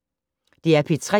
DR P3